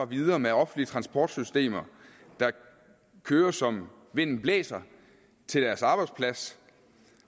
videre med offentlige transportsystemer der kører som vinden blæser til deres arbejdsplads